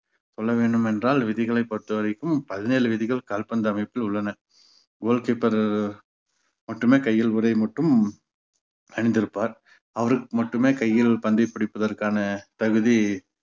சொல்ல வேண்டுமென்றால் விதிகளை பொறுத்தவரைக்கும் பதினேழு விதிகள் கால்பந்து அமைப்பில் உள்ளன goal keeper உ மட்டுமே கையில் உரை மட்டும் அணிந்திருப்பார். அவருக்கு மட்டுமே கையில் பந்தைப் பிடிப்பதற்கான தகுதி